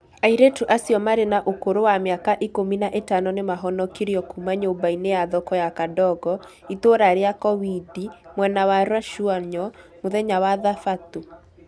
Airĩtu acio marĩ na ũkũrũ wa mĩaka ikũmi na ĩtano nĩ mahonokirio kuuma nyũmba-inĩ ya thoko ya Kadongo, itũra rĩa kowidi mwena wa Rachuonyo mũthenya wa Thabatũ.